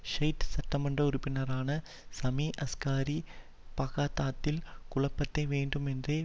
Shiite சட்டமன்ற உறுப்பினரான Sami Askari பாக்தாத்தில் குழப்பத்தை வேண்டுமென்றே